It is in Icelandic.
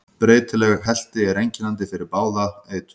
Breytileg helti er einkennandi fyrir bráða eitrun.